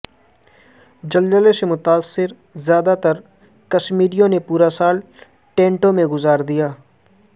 زلزلے سے متاثر زیادہ تر کشمیریوں نے پورا سال ٹینٹوں میں گزار دیا